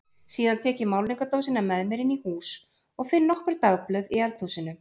Síðan tek ég málningardósina með mér inn í hús og finn nokkur dagblöð í eldhúsinu.